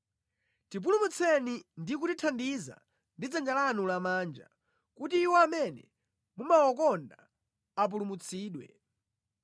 Tipulumutseni ndi kutithandiza ndi dzanja lanu lamanja, kuti iwo amene mumawakonda apulumutsidwe.